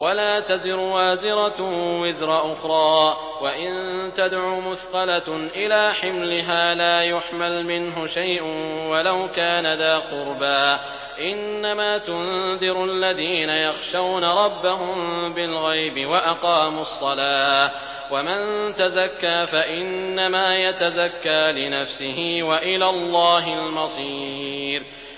وَلَا تَزِرُ وَازِرَةٌ وِزْرَ أُخْرَىٰ ۚ وَإِن تَدْعُ مُثْقَلَةٌ إِلَىٰ حِمْلِهَا لَا يُحْمَلْ مِنْهُ شَيْءٌ وَلَوْ كَانَ ذَا قُرْبَىٰ ۗ إِنَّمَا تُنذِرُ الَّذِينَ يَخْشَوْنَ رَبَّهُم بِالْغَيْبِ وَأَقَامُوا الصَّلَاةَ ۚ وَمَن تَزَكَّىٰ فَإِنَّمَا يَتَزَكَّىٰ لِنَفْسِهِ ۚ وَإِلَى اللَّهِ الْمَصِيرُ